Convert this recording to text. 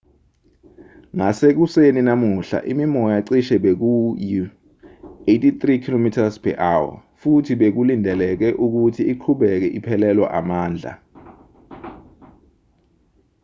ngasekuseni namuhla imimoya cishe beyiku-83 km/h futhi bekulindeleke ukuthi iqhubeke iphelelwa amandla